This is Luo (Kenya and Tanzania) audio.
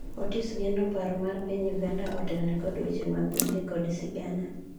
Otis geno paro mar piny Uganda otelne kod weche mag gwenge kod sigana